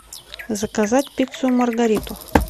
заказать пиццу маргариту